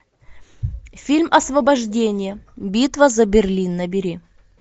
фильм освобождение битва за берлин набери